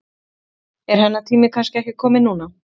Er hennar tími kannski ekki kominn núna?